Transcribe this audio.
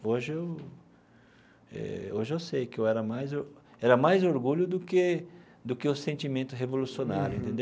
Hoje eu eh hoje eu sei que eu era mais or era mais orgulho do que do que o sentimento revolucionário.